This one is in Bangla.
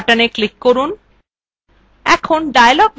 save button click করুন